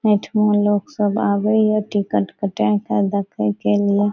एठमा लोग सब आवे ये टिकट कटे के देखे के लिए।